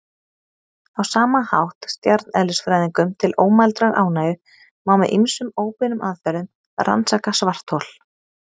Á sama hátt, stjarneðlisfræðingum til ómældrar ánægju, má með ýmsum óbeinum aðferðum rannsaka svarthol.